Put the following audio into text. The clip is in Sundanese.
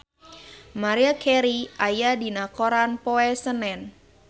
Maria Carey aya dina koran poe Senen